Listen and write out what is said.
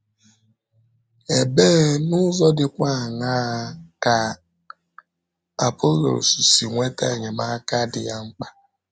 Ebee, n’ụzọ dịkwa àńà ka Apọlọs si nweta enyemaka dị ya mkpa?